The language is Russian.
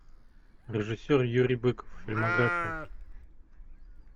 режиссер юрий быков фильмография